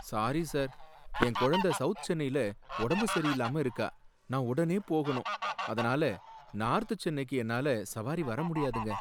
sorry sir, என் குழந்த south சென்னைல உடம்பு சரியில்லாம இருக்கா, நான் உடனே போகணும், அதனால நார்த் சென்னைக்கு என்னால சவாரி வர முடியாதுங்க